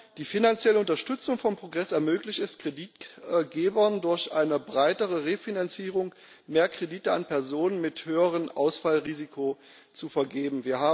Die finanzielle Unterstützung von Progress möglich es, Kreditgebern durch eine breitere Refinanzierung mehr Kredite an Personen mit höherem Ausfallrisiko zu vergeben.